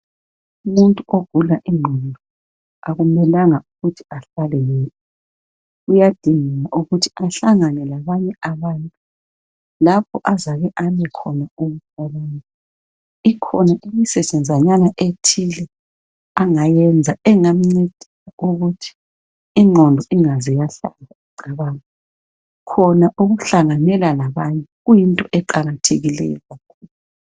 Umuntu ogula ingqondo akumelanga ukuthi ahlale yedwa. Uyadinga ukuthi ahlangane labanye abantu lapho azake ame khona ukucabanga. Ikhona imisetshenzanyana ethile angayenza engamncedisa ukuthi ingqondo ingaze yahlala icabanga. Khona ukuhlanganyela labanye kuyinto eqakathekileyo.